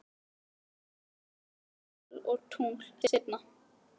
Get hugsað um sól og tungl seinna.